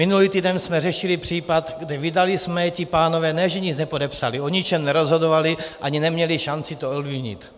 Minulý týden jsme řešili případ, kde vydali jsme, ti pánové ne že nic nepodepsali, o ničem nerozhodovali ani neměli šanci to ovlivnit.